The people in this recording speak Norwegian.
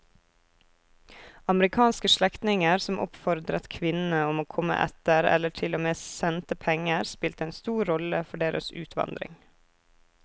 Amerikanske slektninger som oppfordret kvinnene om å komme etter eller til og med sendte penger spilte en stor rolle for deres utvandring.